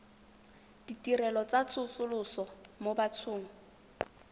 ditirelo tsa tsosoloso mo bathong